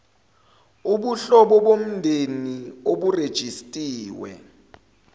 ubuhlobo bomndeni oburejistiwe